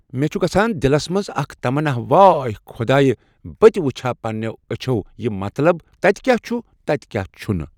مےٚ چُھ گژھان دِلَس منٛز اَکھ تَمناہ واے خۄداے بہٕ تہِ وٕچھِ ہا پنٛنِیو أچھو یہِ مطلب تَتہِ کیٛاہ چھُ تَتہِ کیٛاہ نہٕ چھُ